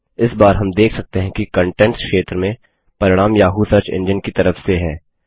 इस बार हम देख सकते हैं कि कंटेंट्स क्षेत्र में परिणाम याहू सर्च एंजिन की तरफ से हैं